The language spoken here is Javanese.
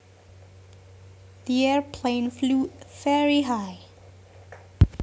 The airplane flew very high